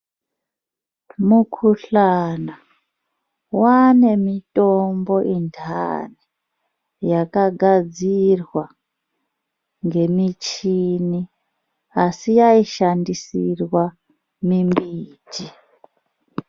Mukhuhlana waane mitombo intani, yakagadzirwa ngemichini, asi yaishandisirwa mimbiti.